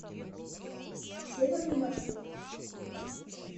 северный маршрут